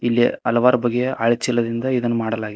ಇಲ್ಲಿ ಹಲವಾರು ಬಗೆಯ ಹಳೆ ಚೀಲದಿಂದ ಇದನ್ನು ಮಾಡಲಾಗಿದೆ.